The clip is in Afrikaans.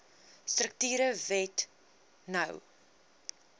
strukture wet no